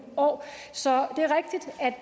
år så